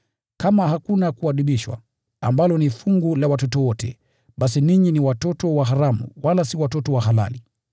Kama hakuna kuadibishwa (ambalo ni fungu la watoto wote), basi ninyi ni watoto wa haramu wala si watoto halali.